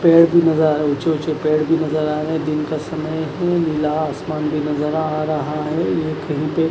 पेड़ भी नज़र आ रहे है ऊँचे-ऊँचे पेड़ भी नज़र आ रहे हैं दिन का समय है नीला आसमान भी नज़र आ रहा है। ये कहीं पे --